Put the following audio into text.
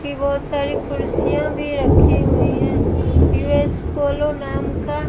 की बहुत सारी कुर्सियां भी रखी हुई हैं यू_एस पोलो नाम का--